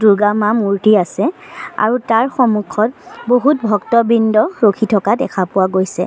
দুৰ্গা মা মূৰ্ত্তি আছে আৰু তাৰ সন্মুখত বহু ভক্তবৃন্দ ৰখি থকা দেখা পোৱা গৈছে।